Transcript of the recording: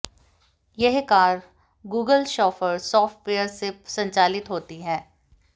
यह car Google chauffeur software से संचालित होती है